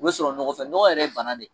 O bɛ sɔrɔ nɔgɔ fɛ nɔgɔ yɛrɛ ye bana de